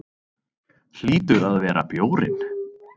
Hlýtur að vera bjórinn.